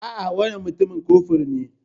A'a, wannan mutumin kofur ne.